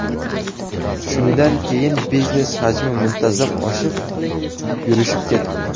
Shundan keyin biznes hajmi muntazam oshib, yurishib ketdi.